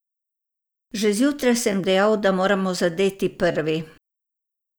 Že zjutraj sem dejal, da moramo zadeti prvi.